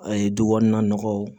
A ye du kɔnɔna nɔgɔw